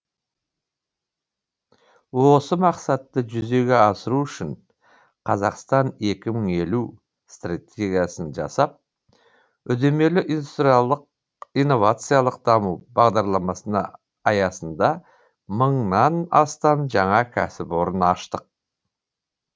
осы мақсатты жүзеге асыру үшін қазақстан екі мың елу стратегиясын жасап үдемелі индустриялық инновациялық даму бағдарламасы аясында мыңнан астам жаңа кәсіпорын аштық